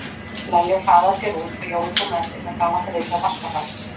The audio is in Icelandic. Lalli hraðaði sér út og Jói kom á eftir með gamalt, ryðgað vaskafat.